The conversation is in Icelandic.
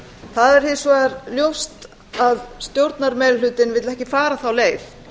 það er hins vegar ljóst að stjórnarmeirihlutinn vill ekki fara þá leið